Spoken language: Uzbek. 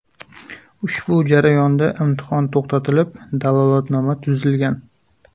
Ushbu jarayonda imtihon to‘xtatilib, dalolatnoma tuzilgan.